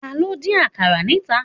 Taló n dín àkàrà níta?